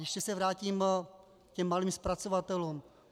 Ještě se vrátím k malým zpracovatelům.